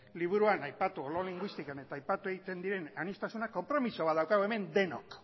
liburuan aipatu olo linguistikan eta aipatu egiten diren aniztasunak konpromiso bat daukagu hemen denok